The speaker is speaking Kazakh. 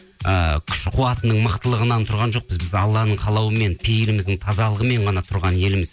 ыыы күш қуатының мықтылығынан тұрған жоқпыз біз алланың қалауымен пейіліміздің тазалығымен ғана тұрған елміз